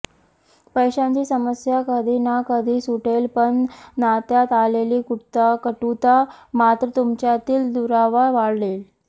पैशांची समस्या कधी ना कधी सुटेल पण नात्यात आलेली कटुता मात्र तुमच्यातील दुरावा वाढवेल